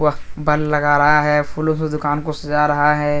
वह बल लग रहा है फूलों से दुकान को सजा रहा है।